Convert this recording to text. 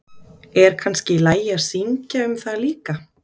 Er kannski í lagi að syngja um það líka?